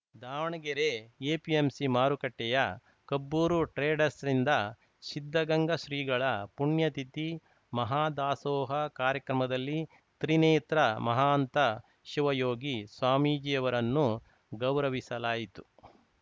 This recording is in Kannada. ದಾವಣಗೆರೆ ಎಪಿಎಂಸಿ ಮಾರುಕಟ್ಟೆಯ ಕಬ್ಬೂರು ಟ್ರೇಡರ್ಸ್ ರಿಂದ ಸಿದ್ಧಗಂಗಾ ಶ್ರೀಗಳ ಪುಣ್ಯತಿಥಿ ಮಹಾದಾಸೋಹ ಕಾರ್ಯಕ್ರಮದಲ್ಲಿ ತ್ರಿನೇತ್ರ ಮಹಾಂತ ಶಿವಯೋಗಿ ಸ್ವಾಮೀಜಿಯವರನ್ನು ಗೌರವಿಸಲಾಯಿತು